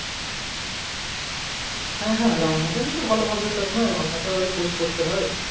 হ্যা হ্যা রান্না তো ‍কিন্তু ভাল হবে তাই না রান্নাতে ওদের course করতে হয়